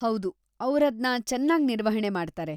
ಹೌದು, ಅವ್ರದ್ನ ಚೆನ್ನಾಗ್ ನಿರ್ವಹಣೆ ಮಾಡ್ತಾರೆ.